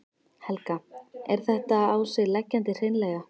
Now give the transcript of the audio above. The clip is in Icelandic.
Helga: Er þetta á sig leggjandi hreinlega?